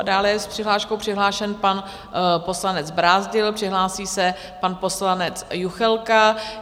A dále je s přihláškou přihlášen pan poslanec Brázdil, přihlásí se pan poslanec Juchelka.